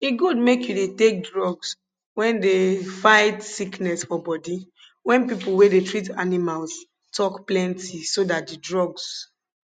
e good make you dey take drugs wen dey fight sickness for bodi wen pipo wey dey treat animals tok plenti so dat di drugs